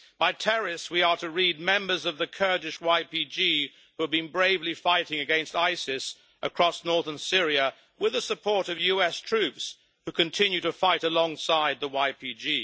By terrorists', we are to read members of the Kurdish YPG', who have been bravely fighting against Isis across northern Syria with the support of US troops, who continue to fight alongside the YPG.